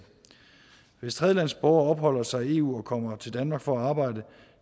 hvis tredjelandsborgere opholder sig i eu og kommer til danmark for at arbejde